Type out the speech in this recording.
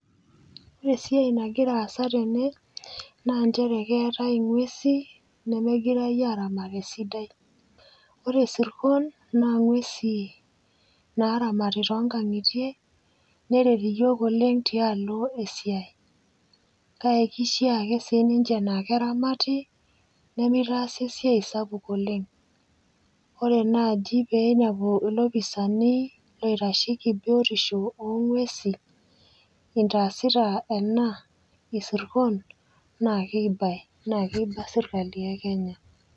Ore esiai nagira aasa tene naa nchere keetai ng'uesi nemegirai aramat esidai. Ore sirkon naa ng'uesi naaramati tongang'itie neret iyiok oleng' tialo esiai. Kake keishiaa ake sininche naake eramati nemeitaasi esiai sapuk oleng, ore naaji peeinepu ilopisani loitasheiki biotisho oo ng'uesi intaasita ena isirkon naakeibai, naakeiba sirkali e Kenya.